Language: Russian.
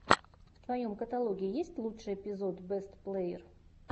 в твоем каталоге есть лучший эпизод бэст плэер